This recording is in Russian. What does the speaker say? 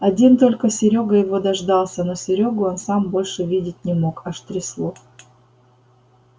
один только серёга его дождался но серёгу он сам больше видеть не мог аж трясло